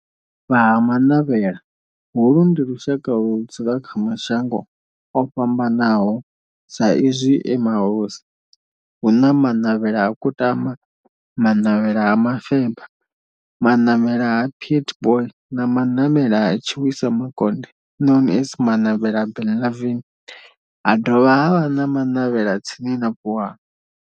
Vha Ha-Manavhela, holu ndi lushaka ludzula kha mashango ofhambanaho sa izwi e mahosi, hu na Manavhela ha Kutama, Manavhela ha Mufeba, Manavhela ha Pietboi na Manavhela ha Tshiwisa Makonde known as Manavhela Benlavin, ha dovha havha na Manavhela tsini na Vuwani.